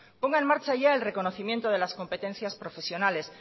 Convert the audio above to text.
ponga en marcha ya el reconocimiento de las competencias profesionales